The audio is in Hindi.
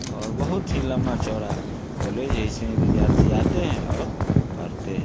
और बहुत ही लंबा-चौड़ा कॉलेज है| इसमें विद्यार्थी आते हैं और पढ़ते हैं।